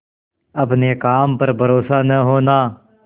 अपने काम पर भरोसा न होना